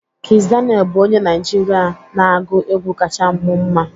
Kiss Daniel bụ onye Naịjirịa na-agụ egwu kacha mụ mma.